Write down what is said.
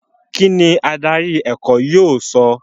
kín ni adarí ẹ̀kọ́ yóò sọ?